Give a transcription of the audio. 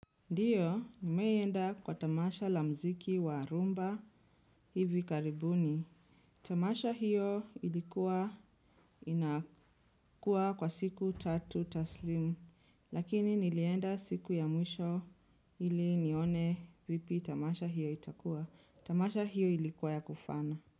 Ndiyo nimewai enda kwa tamasha la mziki wa rumba hivi karibuni. Tamasha hiyo ilikuwa inakua kwa siku tatu taslimu. Lakini nilienda siku ya mwisho ili nione vipi tamasha hiyo itakua. Tamasha hiyo ilikuwa ya kufana.